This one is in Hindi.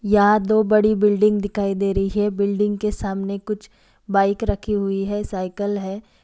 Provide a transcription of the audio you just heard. यहाँ दो बड़ी बिल्डिंग दिखाई दे रही है बिल्डिंग के सामने कुछ बाइक रखी हुई है साईकल है ।